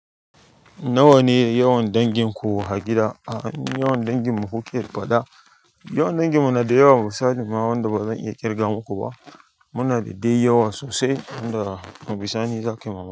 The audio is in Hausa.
Nawa ne yawan danginku a gida? A'a mu yawan dangin mu kuke faɗa. Yawan dangin mu na da yawa, musa misali ma wanda ba zan iya ƙirga muku ba. Muna da dai yawa sosai, inda daga bisani.